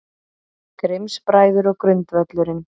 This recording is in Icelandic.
Grimms-bræður og grundvöllurinn